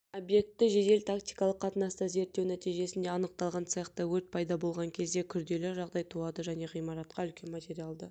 объектті жедел-тактикалық қатынаста зерттеу нәтижесінде анықталған цехта өрт пайда болған кезде күрделі жағдай туады және ғимаратқа үлкен материалды